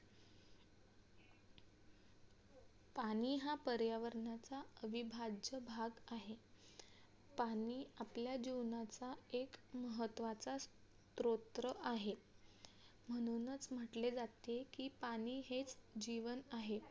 पाणी हा पर्यावरणाचा विभाज्य भाग आहे पाणी आपल्या जीवनाचा एक महत्वाचा स्त्रोत्र आहे म्हणूनच म्हटले जाते पाणी हेच जीवन आहे.